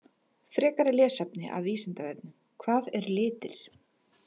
Frekara lesefni af Vísindavefnum: Hvað eru litir?